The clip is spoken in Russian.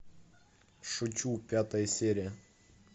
шучу пятая серия